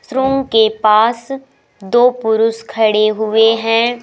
इस रूम के पास दो पुरुष खड़े हुए हैं।